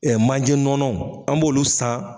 Ɛ manje nɔnɔw an b'olu san